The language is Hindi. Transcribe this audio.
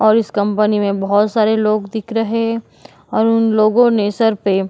और इस कंपनी में बहुत से लोग देख रहे और उन लोगे ने सर पे --